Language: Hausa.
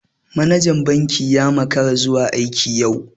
Manajan banki ya makara zuwa aiki yau.